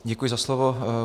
Děkuji za slovo.